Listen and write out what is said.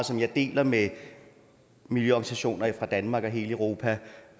som jeg deler med miljøorganisationer fra danmark og hele europa